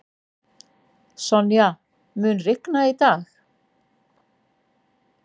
Sonja, mun rigna í dag?